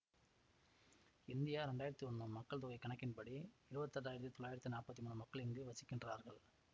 இந்திய இரண்டாயிரத்தி ஒன்னு மக்கள் தொகை கணக்கின்படி இருவத்தெட்டாயிரத்தி தொள்ளாயிரத்தி நாப்பத்தி மூனு மக்கள் இங்கு வசிக்கின்றார்கள்